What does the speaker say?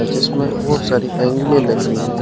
जिसमें बहुत सारी एंगलें लगी हुई हैं।